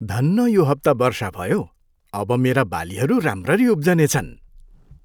धन्न यो हप्ता वर्षा भयो। अब मेरा बालीहरू राम्ररी उब्जनेछन्।